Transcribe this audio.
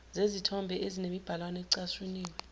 zezithombe ezinemibhalwana ecashuniwe